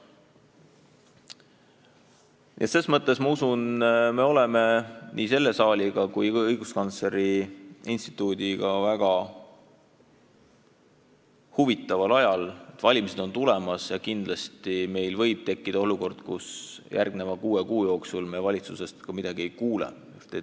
Üldiselt aga on nii meil siin saalis kui ka õiguskantsleri kantseleis käes väga huvitav aeg: valimised on tulemas ja nii võib tekkida olukord, kus me järgmise kuue kuu jooksul valitsusest suurt midagi ei kuule.